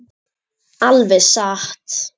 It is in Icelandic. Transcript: Alveg satt!